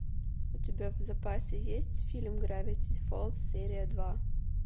у тебя в запасе есть фильм гравити фолз серия два